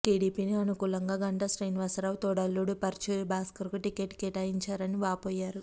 టీడీపీకి అనుకూలంగా గంటా శ్రీనివాసరావు తోడల్లుడు పరుచూరి భాస్కర్కు టిక్కెట్ కేటాయించారని వాపోయారు